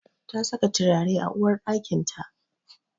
Ta saka turare a uwarɗakinta.